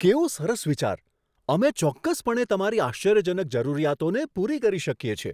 કેવો સરસ વિચાર! અમે ચોક્કસપણે તમારી આશ્ચર્યજનક જરૂરિયાતોને પૂરી કરી શકીએ છીએ.